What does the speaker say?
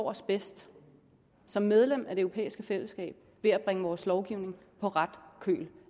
os bedst som medlem af det europæiske fællesskab ved at bringe vores lovgivning på ret køl